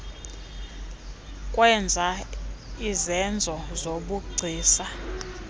kwenza izenzo zobugcisa